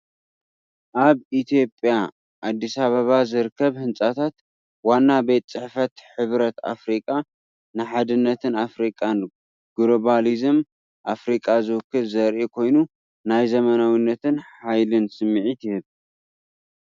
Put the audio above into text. ኣብ ኢትዮጵያ ኣዲስ ኣበባ ዝርከብ ህንጻታት ዋና ቤት ጽሕፈት ሕብረት ኣፍሪቃ፡ ንሓድነት ኣፍሪቃን ግሎባሊዝምን ኣፍሪቃ ዝውክል ዘርኢ ኮይኑ፡ ናይ ዘመናዊነትን ሓይልን ስምዒት ይህብ።